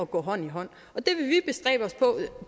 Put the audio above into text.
gå hånd i hånd og